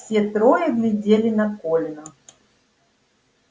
все трое глядели на колина